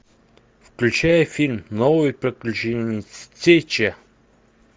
включай фильм новые приключения стича